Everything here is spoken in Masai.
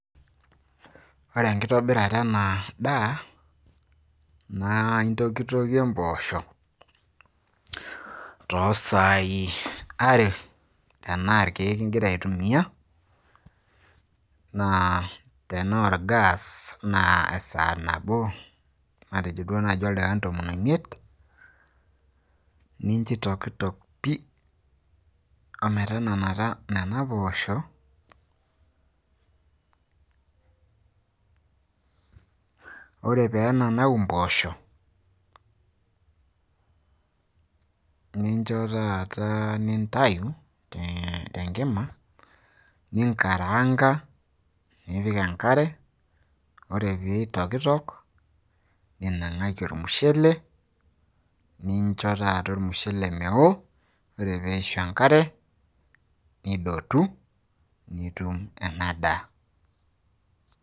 Ore enkitobirata ena `daa naa intokitokie mpoosho, too saai are tenaa ilkiek igira ai tumia naa tenaa ol gas naa esaa nabo matejo duo naaji o ildaikani tomon o miet. Nincho eitokitok pii o metananita nena poosho. Ore pee enanau mpoosho nincho taata nintayu te nkima , ninkaraanga nipik enkare ore pee eitokitok ninng`aki ormushele. Nincho taata olmushele mewo ore pee eishu enkare nidotu nitum ena `daa.